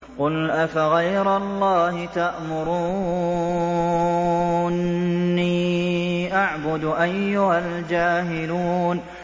قُلْ أَفَغَيْرَ اللَّهِ تَأْمُرُونِّي أَعْبُدُ أَيُّهَا الْجَاهِلُونَ